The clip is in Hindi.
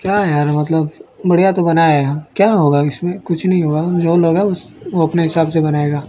क्या यार मतलब बढ़िया तो बना है क्या होगा इसमें कुछ नहीं हुआ जो लोग है उस वो अपने हिसाब से बनाएगा।